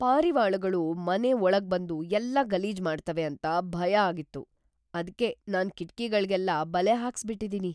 ಪಾರಿವಾಳಗಳು ಮನೆ ಒಳಗ್ಬಂದು ಎಲ್ಲ ಗಲೀಜ್ ಮಾಡ್ತವೆ ಅಂತ ಭಯ ಆಗಿತ್ತು, ಅದ್ಕೇ ನಾನ್ ಕಿಟ್ಕಿಗಳ್ಗೆಲ್ಲ ಬಲೆ ಹಾಕ್ಸ್‌ಬಿಟಿದಿನಿ.